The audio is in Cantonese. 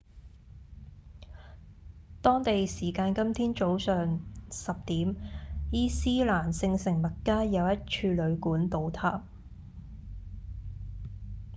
當地時間今天早上10點伊斯蘭聖城麥加有一處旅館倒塌